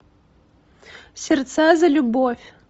сердца за любовь